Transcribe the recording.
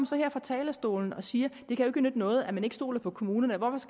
så her fra talerstolen og siger at det ikke kan nytte noget at man ikke stoler på kommunerne